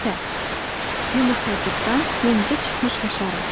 Sürfə. Yumurtacıqdan yenicə çıxmış həşarat.